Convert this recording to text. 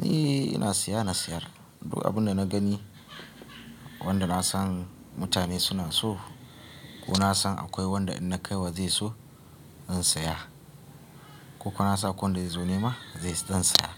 ni ina siya na siyar, duk abin da na gani wanda na san mutane suna so ko na san akwai wanda in na kaiwa zai so zan saya. Koko na san akwai wanda zai zo nema zan saya.